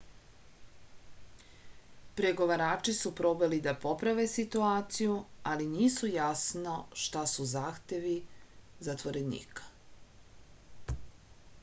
pregovarači su probali da poprave situaciju ali nisu jasno šta su zahtevi zatvorenika